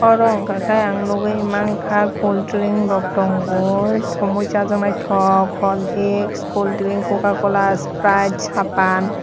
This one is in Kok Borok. aro wngka khe ang nwgwi mangkha cooldring rok tangoi toi mui sajaknai tok holrisk cooldring cocacola spride sapan.